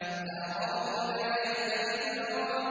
فَأَرَاهُ الْآيَةَ الْكُبْرَىٰ